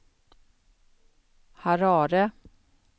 Harare